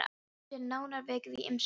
Að þessu er nánar vikið í ýmsum sérlögum.